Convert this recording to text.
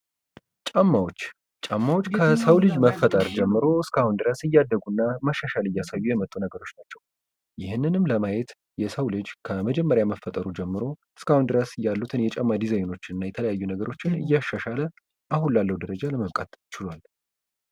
ጫማዎች ጫማዎች ከሰው ልጅ መፈጠር ጀምሮ እስካሁን ድረስ እያደጉና መሻሻል እያሳዩ የመጡ ነገሮች ናቸው። ይህንንም ለማየት የሰው ልጅ ከመጀመሪያ መፈጠሩ ጀምሮ እስካሁን ድረስ ያሉትን ይጨማ ዲዛይኖች እና የተለያዩ ነገሮችን እያሻሻለ አሁን ያለው ደረጃ ለመብቃት ችሏል።